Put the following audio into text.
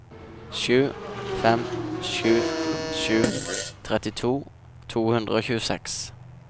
sju fem sju sju trettito to hundre og tjueseks